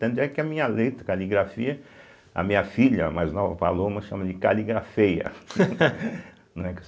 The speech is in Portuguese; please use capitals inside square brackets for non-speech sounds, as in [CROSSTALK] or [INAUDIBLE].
Tanto é que a minha letra, caligrafia, a minha filha, mais nova, a Paloma, chama de caligrafeia, [LAUGHS] né.